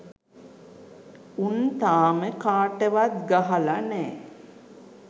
උන් තාම කාටවත් ගහල නෑ